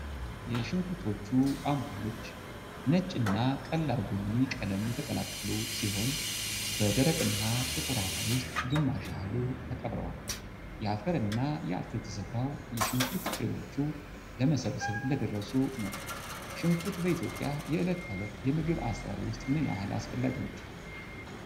የሽንኩርቶቹ አምፖሎች ነጭ እና ቀላል ቡኒ ቀለም የተቀላቀሉ ሲሆን፣ በደረቅና ጥቁር አፈር ውስጥ ግማሽ ያህሉ ተቀብረዋል። የአፈርና የአትክልት ስፍራው የሽንኩርት ፍሬዎቹ ለመሰብሰብ እንደደረሱ ነው። ሽንኩርት በኢትዮጵያ የዕለት ተዕለት የምግብ አሰራር ውስጥ ምን ያህል አስፈላጊ ነው?